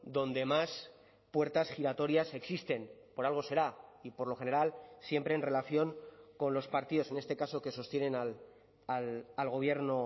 donde más puertas giratorias existen por algo será y por lo general siempre en relación con los partidos en este caso que sostienen al gobierno